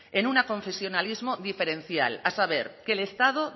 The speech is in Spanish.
en un aconfesionalismo diferencial a saber que el estado